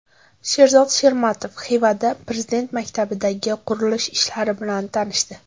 Sherzod Shermatov Xivada Prezident maktabidagi qurilish ishlari bilan tanishdi.